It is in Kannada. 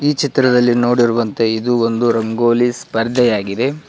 ಈ ಚಿತ್ರದಲ್ಲಿ ನೋಡಿರುವಂತೆ ಇದು ಒಂದು ರಂಗೋಲಿ ಸ್ಪರ್ಧೆ ಆಗಿದೆ.